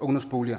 ungdomsboliger